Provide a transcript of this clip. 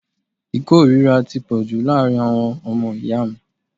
Ìkórìíra ti pọ̀jù láàárín àwọn ọmọ ìyá mi.